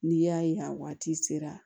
N'i y'a ye a waati sera